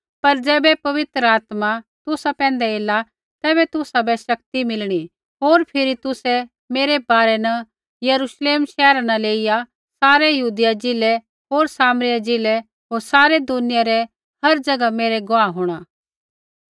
पर ज़ैबै पवित्र आत्मा तुसा पैंधै एला तैबै तुसाबै शक्ति मिलणी होर फिरी तुसै मेरै बारै न यरूश्लेम शैहरा न लेइया सारै यहूदिया ज़िलै होर सामरिया ज़िलै होर सारै दुनिया रै हर ज़ैगा मेरै गवाह होंणा